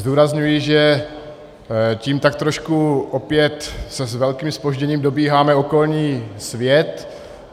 Zdůrazňuji, že tím tak trošku opět s velkým zpožděním dobíháme okolní svět.